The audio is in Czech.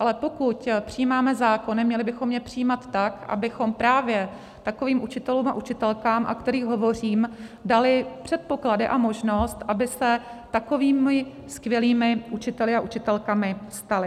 Ale pokud přijímáme zákony, měli bychom je přijímat tak, abychom právě takovým učitelům a učitelkám, o kterých hovořím, dali předpoklady a možnost, aby se takovými skvělými učiteli a učitelkami stali.